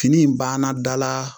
Fini in banna dala